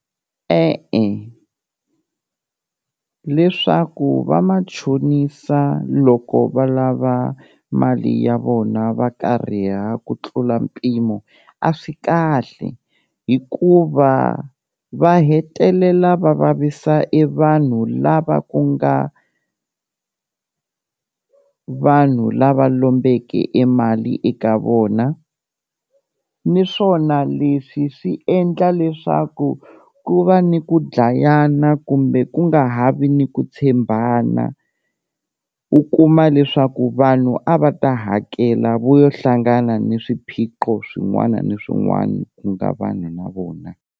E-e leswaku va machonisa loko va lava mali ya vona va kariha ku tlula mpimo a swi kahle, hikuva va hetelela va vavisa e vanhu lava ku nga vanhu lava lombeke e mali eka vona niswona leswi swi endla leswaku ku va ni ku dlayana kumbe ku nga ha vi ni ku tshembana, u kuma leswaku vanhu a va ta hakela vo yo hlangana ni swiphiqo swin'wana ni swin'wana ku nga vanhu na vona.